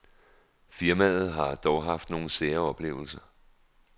Firmaet har dog haft nogle sære oplevelser.